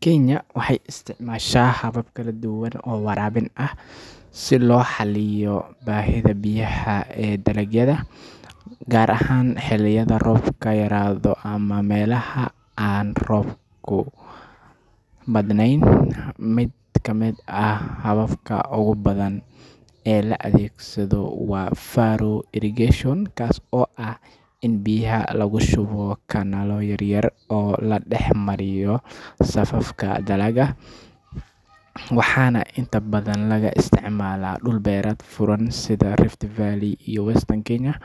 Kenya waxay isticmaashaa habab kala duwan oo waraabin ah si loo xalliyo baahida biyaha ee dalagyada, gaar ahaan xilliyada roobka yaraado ama meelaha aan roobka badnayn. Mid ka mid ah hababka ugu badan ee la adeegsado waa furrow irrigation, kaas oo ah in biyaha lagu shubo kanaallo yaryar oo la dhex mariyo safafka dalagga, waxaana inta badan laga isticmaalaa dhul beereed furan sida Rift Valley iyo Western Kenya.